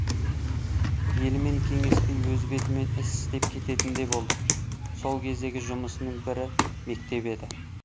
елмен кеңеспей өз бетімен іс істеп кететін де болды сол кездегі жұмысының бірі мектеп еді